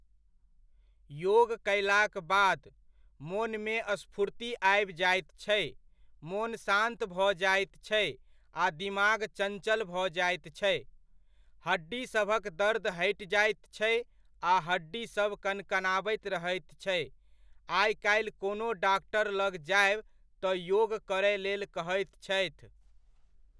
योग कयलाक बाद, मोनमे स्फूर्ति आबि जाइत छै, मोन शान्त भऽ जाइत छै आ दिमाग चञ्चल भऽ जाइत छै। हड्डीसभक दर्द हटि जाइत छै आ हड्डीसभ कनकनाबैत रहैत छै। आइ काल्हि कोनो डॉक्टर लग जायब तऽ योग करयलेल कहैत छथि।